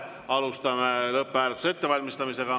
Alustame lõpphääletuse ettevalmistamist.